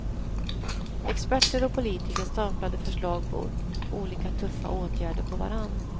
Experter och politiker staplade förslag på olika tuffa åtgärder på varann.